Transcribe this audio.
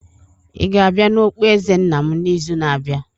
Ị ga-abịa na okpueze nna m n'izu na-abịa?